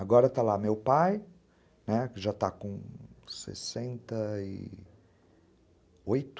Agora está lá meu pai, né, que já está com sessenta e oito.